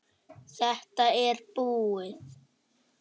Þetta er búið